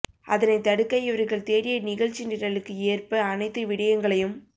அதனை தடுக்க இவர்கள் தேடிய நிகழ்ச்சி நிரலுக்கு ஏற்ப அனைத்து விடயங்களையும்